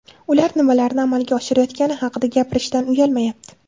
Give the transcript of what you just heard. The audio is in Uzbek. Ular nimalarni amalga oshirayotgani haqida gapirishdan uyalmayapti.